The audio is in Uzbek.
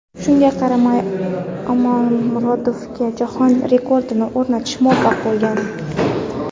Shunga qaramay, Omonmurodova jahon rekordini o‘rnatishga muvaffaq bo‘lgan.